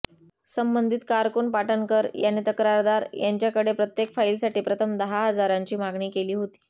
संबंधित कारकून पाटणकर याने तक्रारदार यांच्याकडे प्रत्येक फाईलसाठी प्रथम दहा हजारांची मागणी केली होती